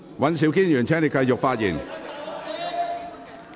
尹兆堅議員，請繼續發言。